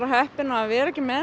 heppin að vera með